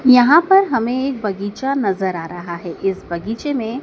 यहां पर हमे एक बगीचा नज़र आ रहा है इस बगीचे में--